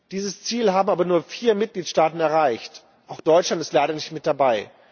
Dieses Ziel haben aber nur vier Mitgliedstaaten erreicht, auch Deutschland ist leider nicht mit dabei.